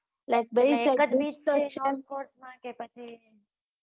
Short boat માં કે પછી